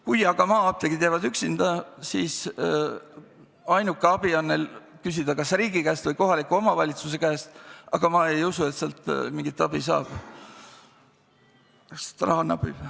Kui aga maa-apteegid jäävad üksinda, siis saavad nad ehk abi küsida vaid riigi või kohaliku omavalitsuse käest, aga ma ei usu, et sealt mingit abi saaks, sest raha napib.